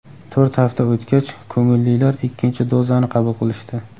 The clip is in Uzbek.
To‘rt hafta o‘tgach, ko‘ngillilar ikkinchi dozani qabul qilishdi.